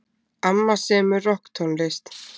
Amma semur rokktónlist.